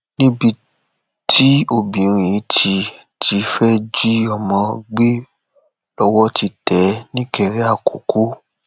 níbi tí obìnrin yìí ti ti fẹẹ jí ọmọ gbé lọwọ ti tẹ é nìkéré àkọkọ